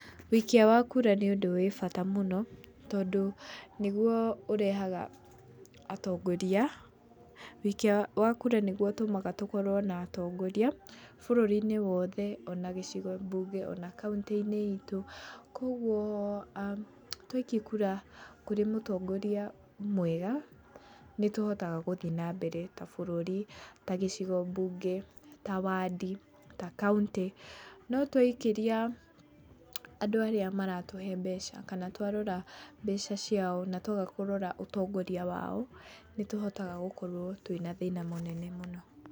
Wuikia wa kura nĩ ũndũ wĩ bata mũno tondũ nĩguo ũrehaga atongoria. Wĩikia wa kura nĩguo ũtũmaga tũkorwo na atongoria, bũrũri-inĩ wothe ona gĩcigo bunge ona kaũntĩ- ini itũ kuoguo twaikia kura kũrĩ mũtongoria mwega nĩtũhotaga gũthiĩ na mbere ta bũrũri ta gĩcigo mbunge, ta wandi ta kaũnti no twaikĩria andũ arĩa maratũhe mbeca kana twarora mbeca ciao na twaga kũrora ũtongoria wao nĩtũhotaga gũkorũo na thĩna mũnene mũno.